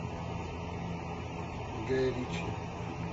гай ричи